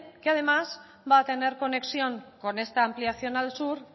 que además va a tener conexión con esta ampliación al sur